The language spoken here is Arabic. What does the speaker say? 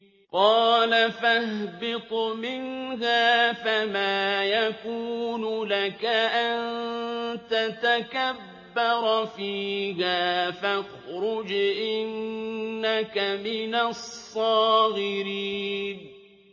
قَالَ فَاهْبِطْ مِنْهَا فَمَا يَكُونُ لَكَ أَن تَتَكَبَّرَ فِيهَا فَاخْرُجْ إِنَّكَ مِنَ الصَّاغِرِينَ